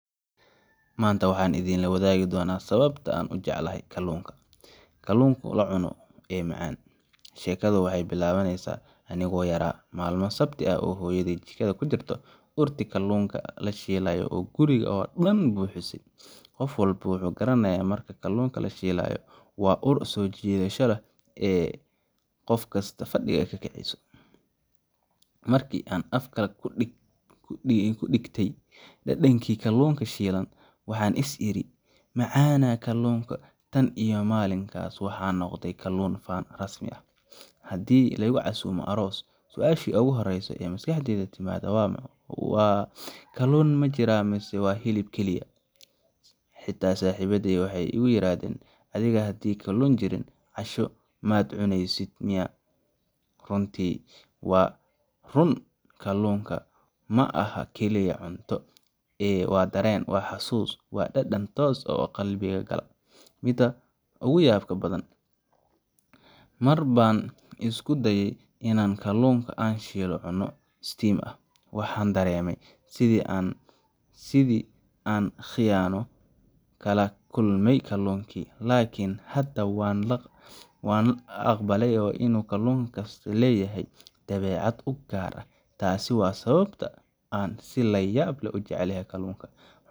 maanta waxaan idinla wadaagayaa sababta aan u jeclaaday kaluunka kaluunka la cuno ee macaan Sheekadu waxay bilaabmaysaa anigoo yaraa, maalmo sabti ah oo hooyaday jikada ku jirto, urtii kaluunka la shiilayo oo guriga oo dhan buuxisay Qof walba wuxuu garanayaa marka kaluun la shiilayo waa ur soo jiidasho leh oo qof kasta fadhiga ka kiciso Markii aan afka ku dhigtay dhadhankii kaluunka shiilan, waxaan is iri: macanaa kallunka Tan iyo maalinkaas, waxaan noqday kaluun fan rasmi ah. Haddii la igu casuumo aroos, su’aashii ugu horreysay ee maskaxdayda timaadda waa: kaluun ma jira mise waa hilib keliya? Xitaa saaxiibbaday waxay igu yiraahdaan: Adiga haddii kaluun jirin, casho maad cuneysid miyaa Runtii waa run kaluunku ma aha oo kaliya cunto, waa dareen, waa xasuus, waa dhadhan toos ah qalbiga gala. Midda ugu yaabka badan? Mar baan isku dayay in aan kaluun aan shiilnayn cuno steam ah. Waxaan dareemay sidii aan khiyaano kala kulmay kaluunkii! Laakiin hadda waan ka aqbalay in uu kaluun kasta leeyahay dabeecad u gaar ah. Taasi waa sababta aan si layaab leh u jeclahay kaluunka.